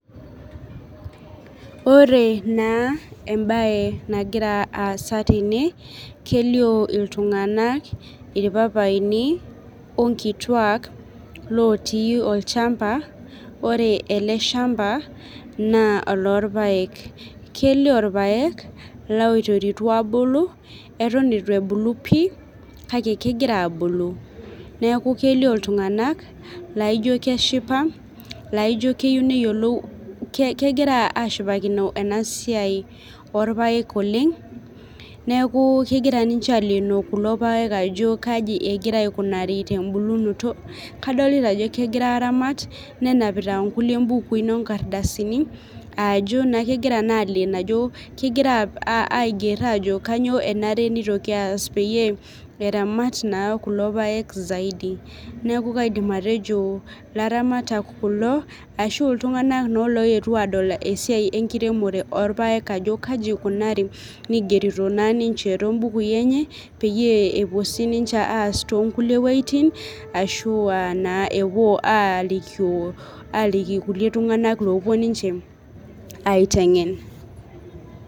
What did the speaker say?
Ore naa ebae nagiraa aasa tene kelio iltung'ana irpapaini onkituak looti olchamba, ore ele shamba naa olorpaek. Kelio irpaek loiteritua abulu etun eitu ebulu pii, kake eton egira abulu. Neeku kelio iltung'anak laijo keshipa, laijo keyiou neyiolou, kegira ashipakino ena siai orpaek oleng. Neeku kegira ninche aleeno kulo paek ajo kaji egira aikunari tebulunoto. Kadolita ajo kegira aramat nenapita inkulie ibukuin onkardasini ajo kegira naa aleno ajo kegira aiger ajo kainyoo enare pitoki aas peyie aramat naa kulo paek zaidi. Neeku kaidim atejo ilaramatak kulo , ashu iltung'ana naa loetuo adol esiai enkiremore orpeak ajo kaji ikunari nigerito naa ninche tobukuin enye, peyie epuo sii ninchr aas too nkulie wejitin ashua epuo naa alikio aliki kulie tung'ana opuo ninche aiteng'en.